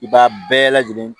I b'a bɛɛ lajɛlen